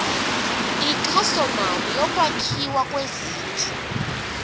inkxasomali yokwakhiwa kwezindlu